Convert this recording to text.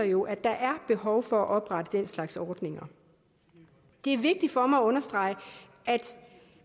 jo at der er behov for at oprette den slags ordninger det er vigtigt for mig at understrege at